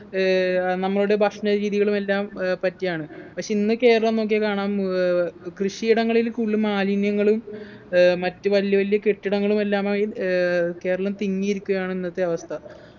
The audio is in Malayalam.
ഏർ നമ്മളുടെ ഭക്ഷണരീതികളും എല്ലാം ഏർ പറ്റിയാണ് പക്ഷെ ഇന്ന് കേരളം നോക്കിയാ കാണാം ഏർ കൃഷിയിടങ്ങളിൽ കൂടുതൽ മാലിന്യങ്ങളും ഏർ മറ്റു വലിയ വലിയ കെട്ടിടങ്ങളും എല്ലാമായി ഏർ കേരളം തിങ്ങിയിരിക്കുകയാണ് ഇന്നത്തെ അവസ്ഥ